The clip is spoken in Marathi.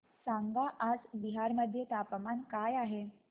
सांगा आज बिहार मध्ये तापमान काय आहे